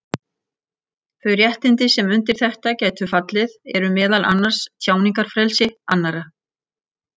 Þau réttindi sem undir þetta gætu fallið eru meðal annars tjáningarfrelsi annarra.